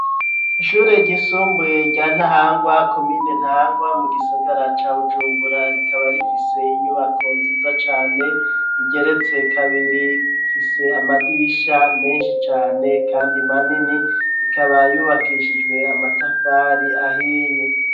Ishuri ryisumbuye rya Ntahangwa komine Ntahangwa mu gisigara ca Bujumbura rikaba rifise inyubako nziza cane igeretse kabiri ifise amadirisha meshi cane kandi manini ikaba yubakishijwe amatafari ahiye